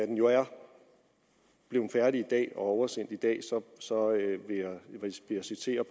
den jo er blevet færdig i dag og er oversendt i dag så så vil jeg citere